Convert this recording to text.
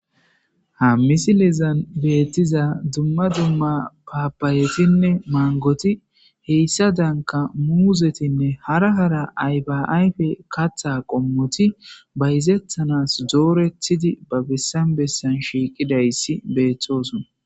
ha misilizan beettiza dumma dumma paapayetinne maangoti heyssa danka muuzetinne hara hara aybaayfe katha qommoti bayzethanas doorethidi ba bessan bessan shiiqidayssi beeththosona.